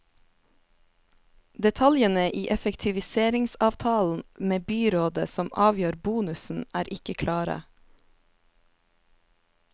Detaljene i effektiviseringsavtalen med byrådet som avgjør bonusen, er ikke klare.